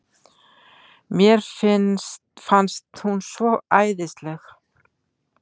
Mér fannst hún svo æðisleg.